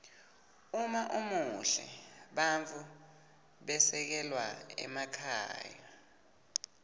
uma umuhle bantfu bekhelwa emakhaya